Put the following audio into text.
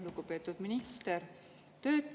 Lugupeetud minister!